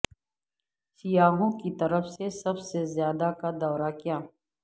سیاحوں کی طرف سے سب سے زیادہ کا دورہ کیا